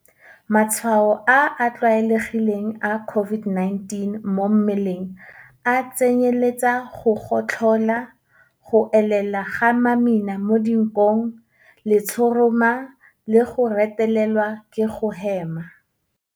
Matshwao a a tlwaelegileng a COVID-19 mo mmeleng a tsenyeletsa go gotlhola, go elela ga mamina mo dinkong, letshoroma le go retelelwa ke go hema.